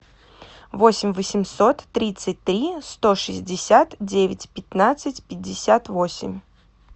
восемь восемьсот тридцать три сто шестьдесят девять пятнадцать пятьдесят восемь